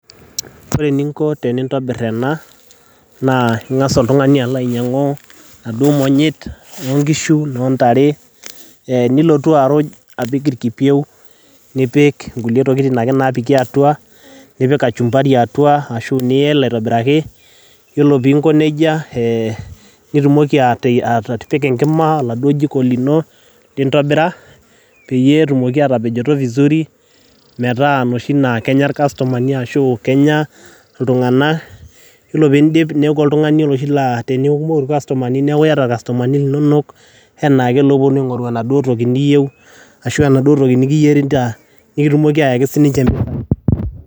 ore eninko tenintobirr ena naa ing'as oltung'ani alo ainyiang'u naduo monyit onkishu nontare eh, nilotu aruj apik irkipieu nipik nkulie tokitin ake napiki atua nipik kachumbari atua ashu niyel aitobiraki yiolo pinko nejia eh, nitumoki atipika enkima oladuo jiko lino lintobira peyie etumoki atapejoto vizuri metaa inoshi naa kenya irkastomani ashu kenya iltung'anak yiolo pindip neeku oltung'ani oloshi laa tenikikumoku irkastomani neeku iyata irkastomani linonok enaake loponu aing'oru enaduo toki niyieu ashu enaduo toki nikiyierita nikitumoki ayaki sininche impisai.